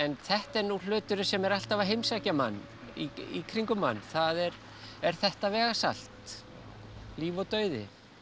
þetta er nú hluturinn sem er alltaf af heimsækja mann í kringum mann það er þetta vegasalt líf og dauði